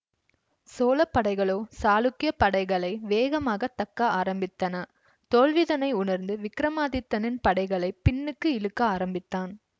சோழ படைகளோ சாளுக்கியப் படைகளை வேகமாக தக்க ஆரம்பித்தன தோல்விதனை உணர்ந்த விக்கிரமாதித்தனின் படைகளை பின்னுக்கு இழுக்க ஆரம்பித்தான்